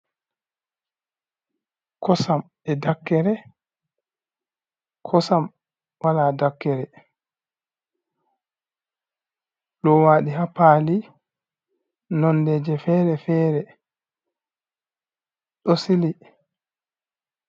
Kosam e dakkere, kosam wala dakkere lowaɗi hapaali nonde je fere-fere ɗo siili.